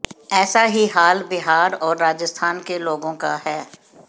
ऐसा ही हाल बिहार और राजस्थान के लोगों का है